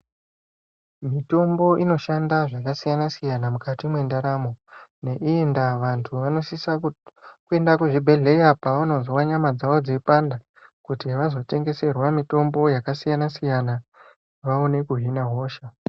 Mitombo inoshanda zvakasiyana siyana mukati mendaramo. Ne iyi ndava, vantu vanosisa kuyenda kuzvibhedhleya pawunozva nyama dzawo dziyipanda, kuti vazotendeserwa mitombo yakasiyana siyana, vawone kuhhina hosha.